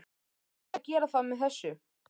Ætlið þið að gera það með þessu?